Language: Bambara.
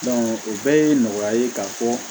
o bɛɛ ye nɔgɔya ye ka fɔ